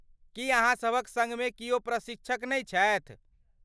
की अहाँसभक सङ्गमे कियो प्रशिक्षक नै छथि?